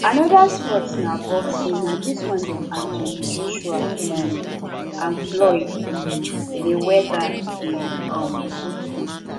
another sports na boxing na this one dem anothony joshua um and floyd um mayweather dey um do